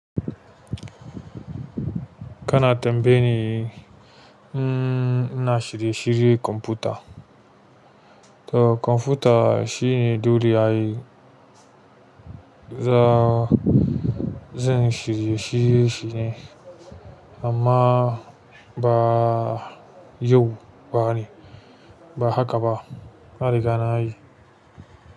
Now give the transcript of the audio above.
Kana tambaye ni, mm ina shirye-shirye kwamfuta. To kwamfuta shine dole a yi. Za zan shirye-shirye shi ne amma ba yau ba ne, ba haka ba. Na riga na yi.